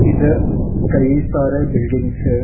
इधर कई सारे बिल्डिंग्स हैं।